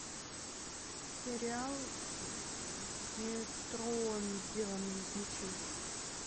сериал где трон сделанный из мечей